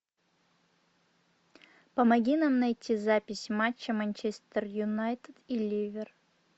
помоги нам найти запись матча манчестер юнайтед и ливер